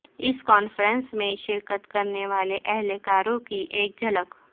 اس conference میں شرکت کرنے والے اہلکاروں کی ایک جھلک